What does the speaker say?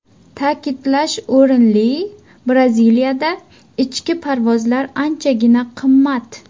Ta’kidlash o‘rinli, Braziliyada ichki parvozlar anchagina qimmat.